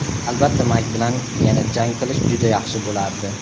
Albatta Mayk bilan yana jang qilish juda yaxshi bo‘lardi.